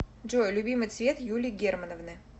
джой любимый цвет юлии германовны